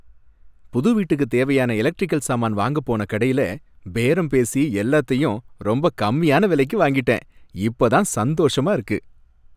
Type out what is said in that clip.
புது வீட்டுக்கு தேவையான எலக்ட்ரிக்கல் சாமான் வாங்கப் போன கடையில பேரம் பேசி எல்லாத்தையும் ரொம்ப கம்மியான விலைக்கு வாங்கிட்டேன், இப்ப தான் சந்தோஷமா இருக்கு.